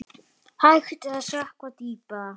Er hægt að sökkva dýpra?